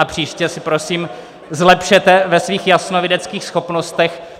A příště se prosím zlepšete ve svých jasnovideckých schopnostech.